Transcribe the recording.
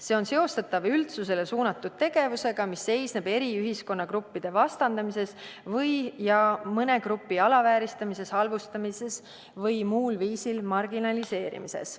See on seostatav üldsusele suunatud tegevusega, mis seisneb eri ühiskonnagruppide vastandamises ja mõne grupi alavääristamises, halvustamises või muul viisil marginaliseerimises.